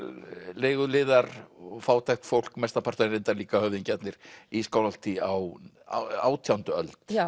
leiguliðar fátækt fólk mestan part en reyndar líka höfðingjarnir í Skálholti á átjándu öld